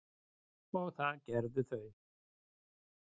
og það gerðu þau.